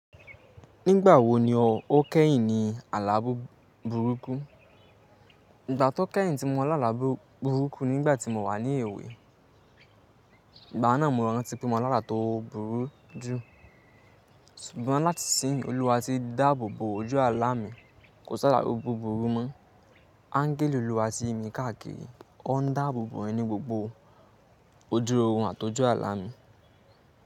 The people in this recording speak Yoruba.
Nígbà wo ni o kẹ́yìn ní àlábò burúkú? Ìgbà tí o kẹ́yìn tí mo lála bu burúkú ni nìgbà tí mo wà ní èwe. Ìgbà náà mo rántí pé mo lálá tó burú jù. Ṣùgbọ́n láti síyin, olúwa ti dáàbò bo ojú àlá mi kò sálá búburú mọ́. Ańgẹ́lì Olúwa tì yimi káàkiri. O ń dáàbò bo ẹ̀yin ní gbogbo oju òòrùn àti ojú àlá mi.